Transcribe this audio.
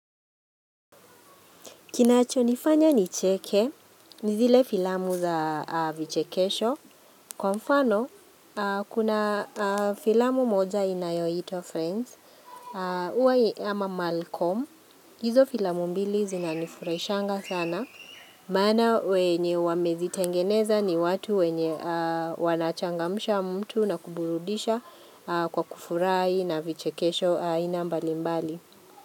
Kinacho nifanya nicheke ni zile filamu za vichekesho. Kwa mfano, kuna filamu moja inayoitwa, friends. Hiwa ya Malcom. Hizo filamu mbili zinanifurahishanga sana. Maana wenye wamezitengeneza ni watu wenye wanachangamsha mtu na kuburudisha kwa kufurahi na vichekesho aina mbali mbali.